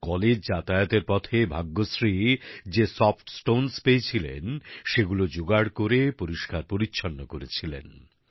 college যাতায়াতের পথে ভাগ্যশ্রীর যে সফট স্টোন্স পেয়েছিলেন সেগুলো যোগাড় করে পরিস্কার পরিচ্ছন্ন করেছিলেন